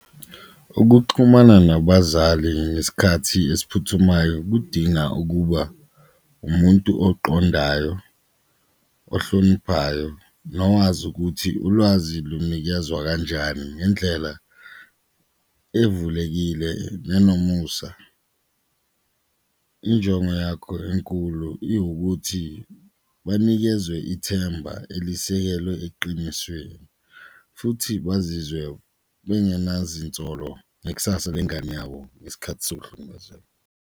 Ukuxhumana nabazali ngesikhathi esiphuthumayo kudinga ukuba umuntu oqondayo, ohloniphayo, nowazi ukuthi ulwazi lunikezwa kanjani ngendlela evulekile nenomusa. Injongo yakho enkulu iwukuthi banikezwe ithemba elisekelwe eqinisweni futhi bazizwe bengenazinsolo ngekusasa lengane yabo ngesikhathi sokuhlukumezeka.